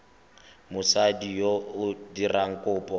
mosadi yo o dirang kopo